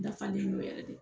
Dafalen do yɛrɛ de.